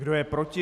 Kdo je proti?